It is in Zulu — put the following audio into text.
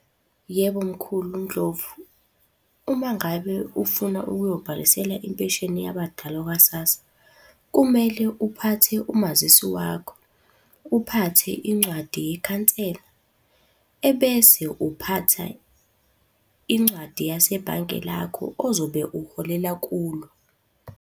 Yebo, mkhulu uNdlovu. Uma ngabe ufuna ukuyobhalisela impesheni yabadala kwa-SASSA, kumele uphathe umazisi wakho, uphathe incwadi yekhansela, ebese uphatha incwadi yasebhanke lakho ozobe uholela kulo.